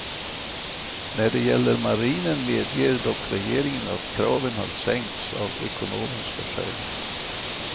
När det gäller marinen medger dock regeringen att kraven har sänkts av ekonomiska skäl.